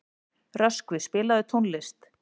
Röskvi, spilaðu tónlist.